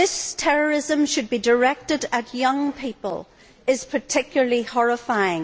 That this terrorism should be directed at young people is particularly horrifying.